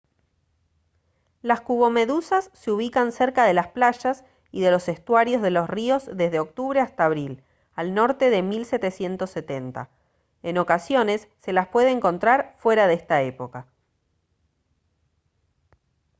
las cubomedusas se ubican cerca de las playas y de los estuarios de los ríos desde octubre hasta abril al norte de 1770 en ocasiones se las puede encontrar fuera de esta época